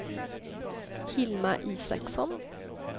Hilma Isaksson